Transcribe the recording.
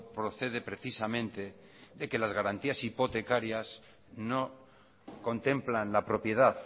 procede precisamente de que las garantías hipotecarias no contemplan la propiedad